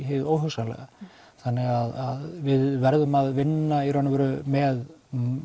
hið óhugsanlega þannig að við verðum að vinna í raun og veru með